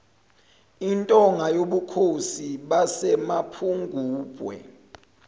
intonga yobukhosi basemapungubwe